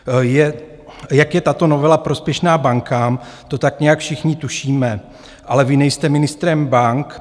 Jak je tato novela prospěšná bankám, to tak nějak všichni tušíme, ale vy nejste ministrem bank.